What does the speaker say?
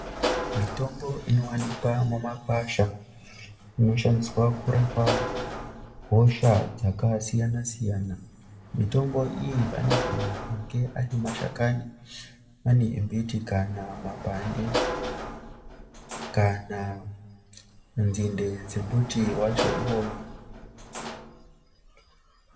Mitombo inowanikwa kumakwasha inoshandiswa kurapa hosha dzakasiyana siyana. Mitombo iyi anogona kunge ari mashakani embiti kana mapande kana nzinde dzemuti wacho uyuwu.